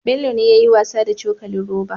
Bello ne yayi wasa da cokalin roba